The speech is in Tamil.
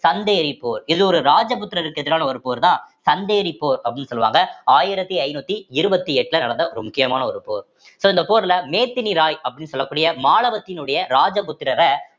சந்தேரி போர் இது ஒரு ராஜபுத்திரருக்கு எதிரான ஒரு போர்தான் சந்தேரி போர் அப்படின்னு சொல்லுவாங்க ஆயிரத்தி ஐந்நூத்தி இருவத்தி எட்டுல நடந்த ஒரு முக்கியமான ஒரு போர் so இந்த போர்ல மேதினி இராயி சொல்லக்கூடிய மாலவத்தினுடைய ராஜபுத்திரற